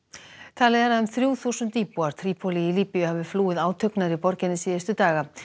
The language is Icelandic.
talið er að um þrjú þúsund íbúar Trípólí í Líbíu hafi flúið átök nærri borginni síðustu daga